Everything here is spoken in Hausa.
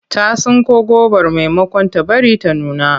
Ta tsinko gobar maimakon ta bari ta nuna.